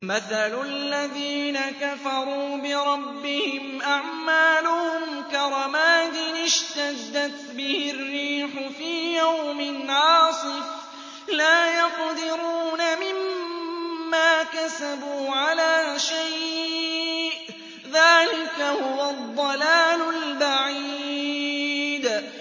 مَّثَلُ الَّذِينَ كَفَرُوا بِرَبِّهِمْ ۖ أَعْمَالُهُمْ كَرَمَادٍ اشْتَدَّتْ بِهِ الرِّيحُ فِي يَوْمٍ عَاصِفٍ ۖ لَّا يَقْدِرُونَ مِمَّا كَسَبُوا عَلَىٰ شَيْءٍ ۚ ذَٰلِكَ هُوَ الضَّلَالُ الْبَعِيدُ